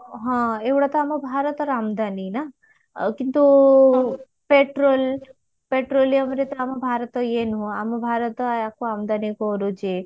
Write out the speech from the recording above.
ହଁ ଏଇଗୁଡା ତ ଆମ ଭାରତର ଆମଦାନୀ ନା ଆଉ କିନ୍ତୁ petrol petroleum ରେ ତ ଆମ ଭାରତ ଇଏ ନୁହଁ ଆମ ଭାରତ ଆକୁ ଆମଦାନୀ କରୁଛି